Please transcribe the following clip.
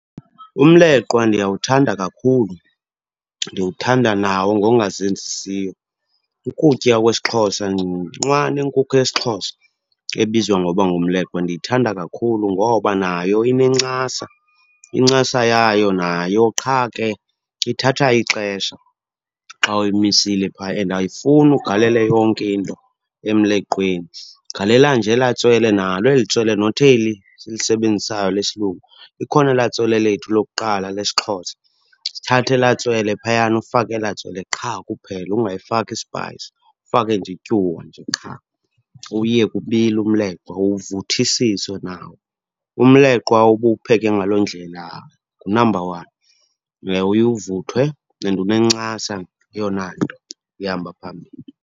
Umleqwa ndiyawuthanda kakhulu, ndiwuthanda nawo ngokungazenzisiyo. Ukutya kwesiXhosa, nqwa nenkukhu yesiXhosa ebizwa ngoba ngumleqwa, ndiyithanda kakhulu ngoba nayo inencasa. Incasa yayo nayo, qha ke ithatha ixesha xa uyimisile phaya and ayifuni ugalele yonke into emleqweni. Galela nje elaa tswele, nalo eli tswele not eli silisebenzisayo lesilungu, likhona elaa tswele lethu lokuqala lesiXhosa. Sithathe elaa tswele phayana, ufake elaa tswele qha kuphela ungayifaki ispayisi. Ufake nje ityuwa nje qha, uwuyeke ubile umleqwa uvuthisiswe nawo. Umleqwa uba uwupheke ngaloo ndlela ngunamba one. Uye uvuthwe and unencasa eyona nto ehamba phambili.